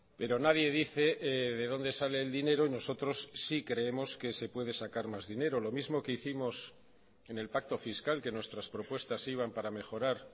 pero nadie dice de donde sale el dinero y nosotros sí creemos que se puede sacar más dinero lo mismo que hicimos en el pacto fiscal que nuestras propuestas iban para mejorar